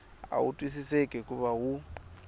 a wu twisiseki hikuva wu